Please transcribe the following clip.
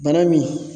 Bana min